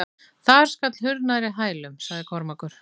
Þar skall hurð nærri hælum, sagði Kormákur.